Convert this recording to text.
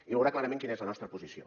i veurà clarament quina és la nostra posició